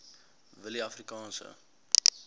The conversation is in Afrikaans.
willieafrikaanse